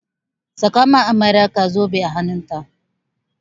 Saka ma amaryarka zobe a hannun ta!